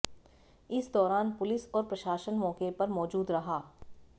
इस दौरान पुलिस और प्रशासन मौके पर मौजूद रहा